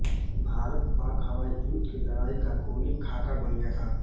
भारतपाक हवाई युद्ध की लड़ाई का खूनी खाका बन गया था